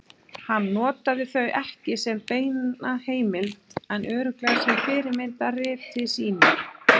Hann notaði þau ekki sem beina heimild en örugglega sem fyrirmynd að riti sínu.